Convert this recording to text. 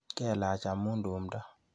Kelach amu tumdo?